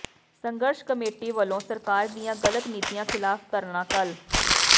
ਸੰਘਰਸ਼ ਕਮੇਟੀ ਵਲੋਂ ਸਰਕਾਰ ਦੀਆਂ ਗਲਤ ਨੀਤੀਆਂ ਿਖ਼ਲਾਫ਼ ਧਰਨਾ ਕੱਲ੍ਹ